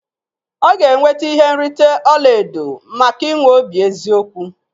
Ọ ga-enweta ihe nrite ọla edo maka inwe obi eziokwu